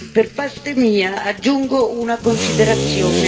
Per parte mia aggiungo una considerazione.